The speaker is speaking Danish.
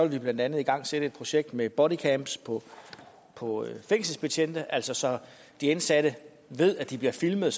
vi blandt andet igangsætte et projekt med bodycams på på fængselsbetjente altså så de indsatte ved at de bliver filmet